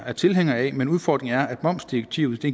er tilhænger af men udfordringen er at momsdirektivet